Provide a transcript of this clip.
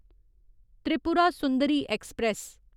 Tripura Sundari express